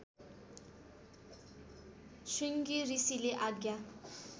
श्रृंगी ऋषिले आज्ञा